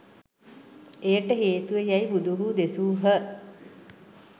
එයට හේතුව යැයි බුදුහු දෙසූහ.